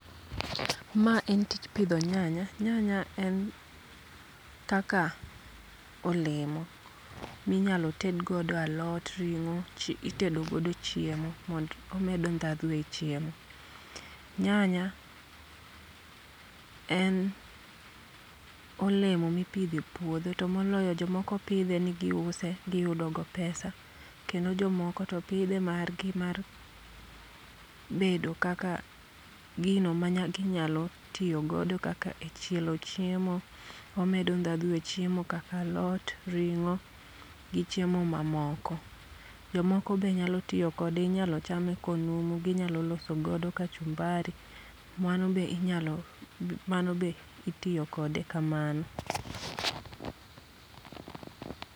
Ma en tich pidho nyanya, nyanya en kaka olemo minyalo ted godo alot ringo, itedogodo chiemo mond omedo ndhadhu e chiemo. Nyanya en olemo mipidhe puodho to moloyo jomoko pidhe ni giuse giyudo go pesa. Kendo jomoko to pidhe margi mar bedo kaka gino ma ginyalo tiyo godo kaka e chielo chiemo, omedo ndhadhu e chiemo kaka alot, ring'o, gi chiemo ma moko. Jomoko be nyalo tiyo kode, inyalo chame konumu, ginyalo loso godo kachumbari. Mano be inyalo mano be itiyo kode kamano.